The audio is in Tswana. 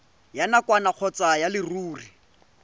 ya nakwana kgotsa ya leruri